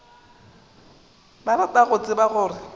ba rata go tseba gore